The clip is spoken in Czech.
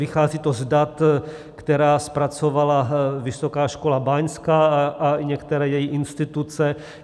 Vychází to z dat, která zpracovala Vysoká škola báňská a některé její instituce.